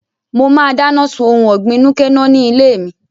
Mo máa dáná sun ohun ọ̀gbìn núké-nọ́h ní ilé mi